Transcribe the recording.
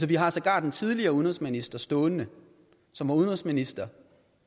vi har sågar den tidligere udenrigsminister stående som var udenrigsminister